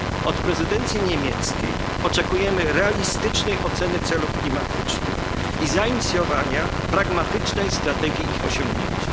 Od prezydencji niemieckiej oczekujemy realistycznej oceny celów klimatycznych i zainicjowania pragmatycznej strategii ich osiągnięcia.